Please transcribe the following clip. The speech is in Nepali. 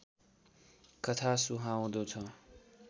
कथा सुहाउँदो छ